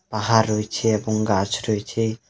পাহাড় রয়েছে এবং গাছ রয়েছে.